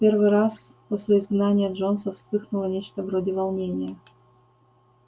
в первый раз после изгнания джонса вспыхнуло нечто вроде волнения